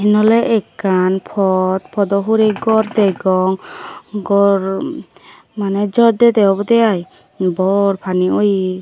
noley ekkan pot podo hure gor degong gor mane jor dede obody ai bor pani oyee.